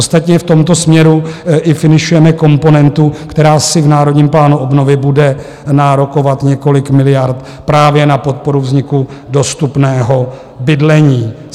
Ostatně v tomto směru i finišujeme komponentu, která si v Národním plánu obnovy bude nárokovat několik miliard právě na podporu vzniku dostupného bydlení.